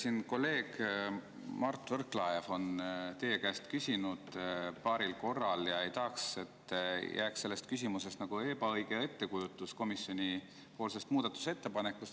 Siin kolleeg Mart Võrklaev on teie käest küsinud paaril korral ja ei tahaks, et selle küsimuse põhjal jääks ebaõige ettekujutus komisjoni muudatusettepanekust.